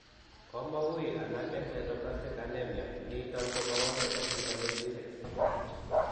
Komawuuy alak en sideroblastic anemia, niiton komawalu en vitamin B6 .